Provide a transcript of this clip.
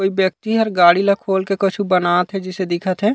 कोई व्यक्ति हर गाड़ी ला खोल के कछु बनात हे जइसे दिखत हे।